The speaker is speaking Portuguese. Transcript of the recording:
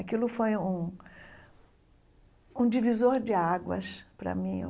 Aquilo foi um um divisor de águas para mim, eu.